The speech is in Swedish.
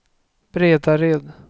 Bredared